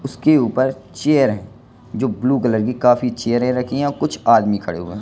उसके ऊपर चेयर है जो ब्लू कलर की काफी चेयरे रखी हैं कुछ आदमी खड़े हुए हैं।